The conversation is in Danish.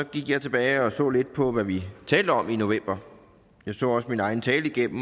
gik jeg tilbage og så lidt på hvad vi talte om i november jeg så også min egen tale igennem